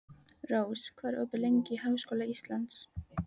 Rós, hvað er opið lengi í Háskóla Íslands?